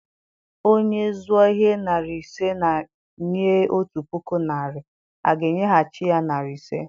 Onye zụọ ihe narị ise ma nye otu puku naịra, a ga-enyeghachi ya narị ise.